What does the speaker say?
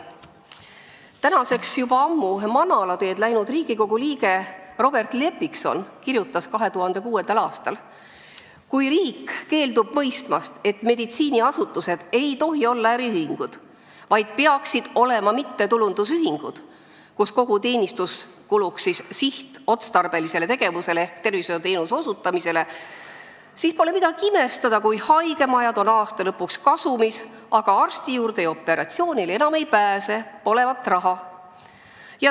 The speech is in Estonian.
Tänaseks juba ammu manalateed läinud Riigikogu liige Robert Lepikson kirjutas 2006. aastal: "Kui riik keeldub mõistmast, et meditsiiniasutused ei tohi olla äriühingud, vaid tegu peaks olema mittetulundusühingutega, kus kogu teenistus kulub sihtotstarbelisele tegevusele, milleks on tervishoiuteenuste osutamine, siis pole midagi imestada, kui haigemajad on kasumis, aastalõpul aga enam operatsioonile ja eriarstile ei pääse – polevat raha.